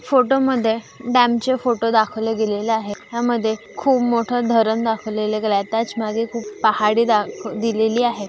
Photo मध्ये डॅमचे photo दाखवले गेलेले आहे हया मध्ये खूप मोठ धरण दाखवले गेलेले आहे त्याच माघे खूप पहाड़ी दा दिलेली आहे.